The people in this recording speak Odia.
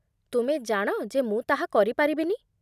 ତୁମେ ଜାଣ ଯେ ମୁଁ ତାହା କରି ପାରିବିନି।